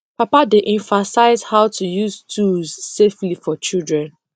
papa dey emphasize how to use tools safely for children